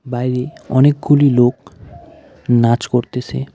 বাইরে অনেকগুলি লোক নাচ করতেছে .